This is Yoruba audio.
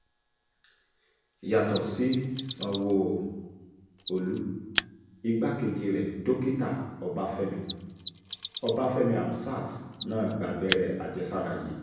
yàtọ̀ sí sanwó-olu igbákejì rẹ̀ dókítà ọbáfẹ́mi ọbáfẹ́mi hamsat náà gba abẹ́rẹ́ àjẹsára yìí